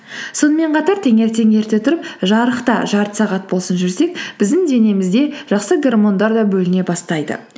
сонымен қатар таңертең ерте тұрып жарықта жарты сағат болсын жүрсек біздің денемізде жақсы гормондар да бөліне бастайды